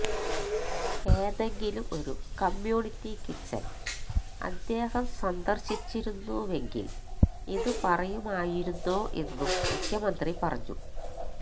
ഏതെങ്കിലും ഒരു community kitchen അദ്ദേഹം സന്ദര്ശിച്ചിരുന്നുവെങ്കില് ഇത് പറയുമായിരുന്നോ എന്നും മുഖ്യമന്ത്രി പറഞ്ഞു